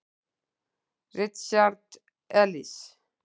Richard Elis.